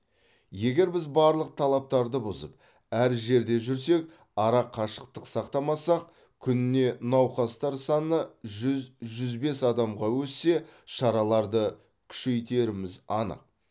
егер біз барлық талаптарды бұзып әр жерде жүрсек ара қашықтық сақтамасақ күніне науқастар саны жүз жүз бес адамға өссе шараларды күшейтеріміз анық